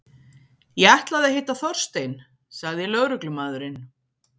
Ég ætlaði að hitta Þorstein- sagði lögreglumaðurinn.